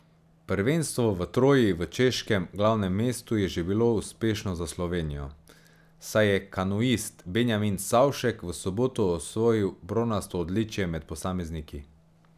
Prvenstvo v Troji v češkem glavnem mestu je že bilo uspešno za Slovenijo, saj je kanuist Benjamin Savšek v soboto osvojil bronasto odličje med posamezniki.